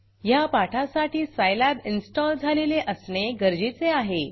ह्या पाठासाठी Scilabसाईलॅब इन्स्टॉल झालेले असणे गरजेचे आहे